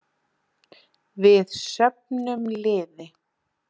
Við söfnum liði.